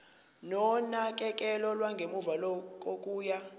nonakekelo lwangemuva kokuya